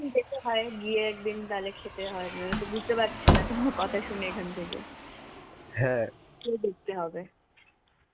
যেতে হয়. গিয়ে একদিন তালে খেতে হয়. বুঝতে পারছি না তোমার কথা শুনে এখান থেকে. খেয়ে দেখতে হবে.